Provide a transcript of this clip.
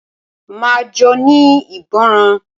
Máa jóní ìgbọràn.